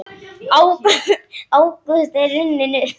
Ágúst er runninn upp.